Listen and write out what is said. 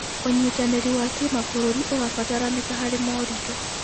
ũnyitanĩri wa kĩmabũrũri ũrabataranĩka harĩ moritũ.